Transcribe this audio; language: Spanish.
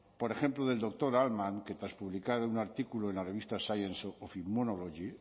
por ejemplo del doctor altmann que tras publicar un artículo en la revista science immunology